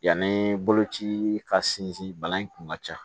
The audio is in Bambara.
Yanni boloci ka sinsin bana in kun ka ca